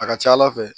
A ka ca ala fɛ